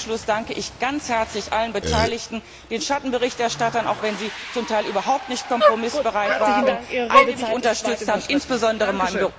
Und ganz zum Schluss danke ich ganz herzlich allen Beteiligten, den Schattenberichterstattern, auch wenn sie zum Teil überhaupt nicht kompromissbereit waren, alle die mich unterstützt haben, insbesondere meinem